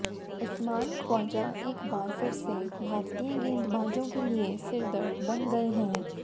उस्मान ख्वाजा एक बार फिर से भारतीय गेंदबाजों के लिए सिरदर्द बन गए हैं